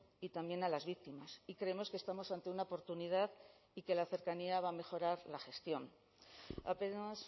y también a las víctimas y creemos que estamos ante una oportunidad y que la cercanía va a mejorar la gestión apenas